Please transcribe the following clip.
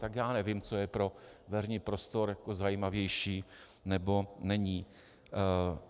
Tak já nevím, co je pro veřejný prostor zajímavější nebo není.